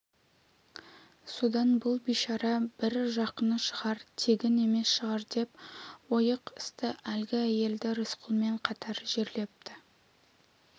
содан бұл бишара бір жақыны шығар тегін емес шығар деп ойық-ысты әлгі әйелді рысқұлмен қатар жерлепті